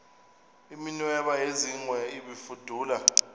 iminweba yezingwe ibifudula